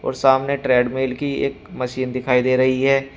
और सामने ट्रेडमिल की एक मशीन दिखाई दे रही है।